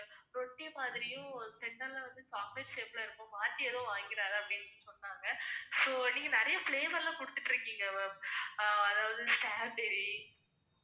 ரொட்டி மாதிரியும் ஒரு center ல வந்து chocolate shape ல இருக்கும், மாத்தி எதும் வாங்கிடாத அப்படின்னு சொன்னாங்க. so நீங்க நிறைய flavour லாம் கொடுத்துட்டுருக்கீங்க ma'am. அதாவது strawberry